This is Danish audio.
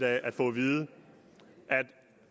af at få at vide at